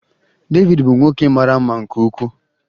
David bụ nwoke mara mma nke ukwuu.